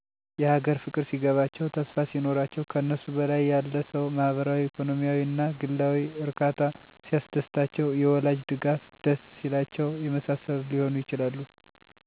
የሀገር ፍቅር ሲገባቸው፣ ተስፋ ሲኖራቸው፣ ከነሱ በላይ ያለ ሰው ማህበራዊ፣ ኢኮኖሚአዊ እና ግላዊ እርካታ ሲያስደስታቸው፣ የወላጅ ድጋፍ ደስ ሲላቸው የመሳሰሉት ሊሆኑ ይችላሉ።